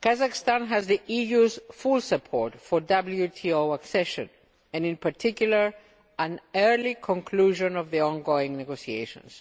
Kazakhstan has the EU's full support for WTO accession, and in particular an early conclusion of the ongoing negotiations.